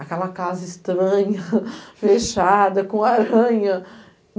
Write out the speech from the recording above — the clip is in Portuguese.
Aquela casa estranha, fechada, com aranha.